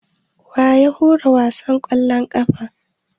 Wa ya hura wasan ƙwallon ƙafan?